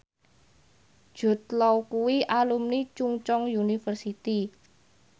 Jude Law kuwi alumni Chungceong University